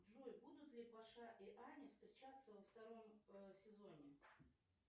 джой будут ли паша и аня встречаться во втором сезоне